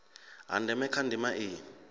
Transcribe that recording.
ha ndeme kha ndima iyi